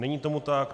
Není tomu tak.